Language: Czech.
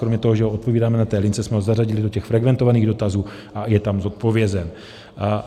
Kromě toho, že ho odpovídáme na té lince, jsme ho zařadili do těch frekventovaných dotazů a je tam zodpovězen.